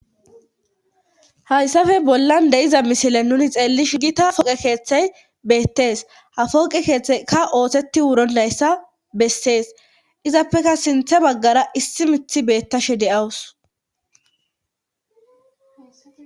hayssafe bollan de7iza misile nuni xeellishin gita foqe keeththey beettees hafoqe keeththekka ootheti wuronayssa bessees izappeka sinthe baggara issi mithi beettashe de7awus